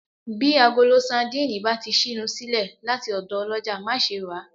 Bí agolo sandínì bá ti ṣínu sílẹ̀ láti ọ̀dọ̀ ọlọ́jà, má ṣe ràá